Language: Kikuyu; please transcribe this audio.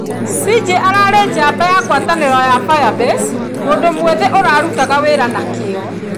Ziggy ararĩ njamba ya ngwatanĩro ya Firebase, mũndũ mwĩthĩ ũrarutaga wĩra na kĩyo.